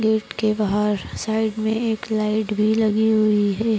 Gate के बाहर side मे एक लाइट भी लगी हुई है।